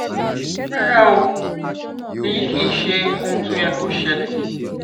rárá o èyí kìí ṣe ohun tó yẹ kó ṣẹlẹ